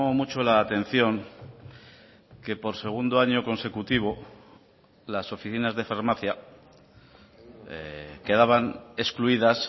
mucho la atención que por segundo año consecutivo las oficinas de farmacia quedaban excluidas